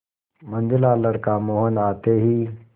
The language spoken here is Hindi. मंझला लड़का मोहन आते ही